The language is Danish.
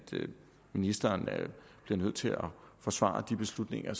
ministeren bliver nødt til at forsvare de beslutninger af